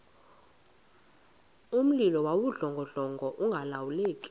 mlilo wawudlongodlongo ungalawuleki